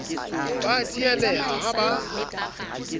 ba a tsieleha ha ba